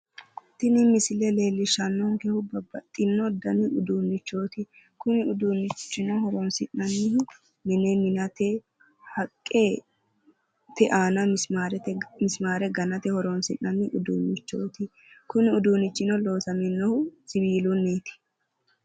Tini misile leellishshannonkehu babbaxino dani uduunnichooti. kuni uduunnichino horonsi'nannihu mine minate haqqete aana misimaare ganate horonsi'nanni uduunnichooti kuni uduunnichino loosaminohu siwiilunniiti